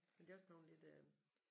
Men det er også bleven lidt øh